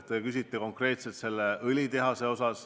Te küsite konkreetselt õlitehase kohta.